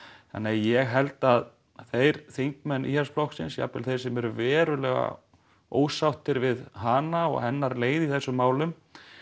þannig að ég held að þeir þingmenn Íhaldsflokksins jafnvel þeir sem eru verulega ósáttir við hana og hennar leið í þessum málum